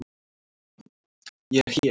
Ég er hér.